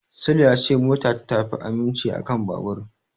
Sule ya ce mota ta fi aminci a kan babur.